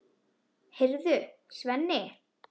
Heyrðu, Svenni!